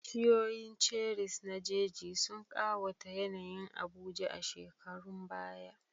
Bishiyoyin cherries na jeji sun ƙawata yanayin Abuja a shekarun baya.